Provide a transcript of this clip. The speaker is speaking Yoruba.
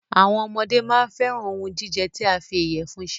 Àwọn ọmọdé máa n fẹ́ran òhún jíjẹ tí a fí ìyẹ̀fun ṣe.